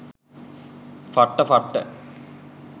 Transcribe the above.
ෆට්ට ෆට්ට.